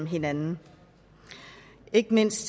hinanden ikke mindst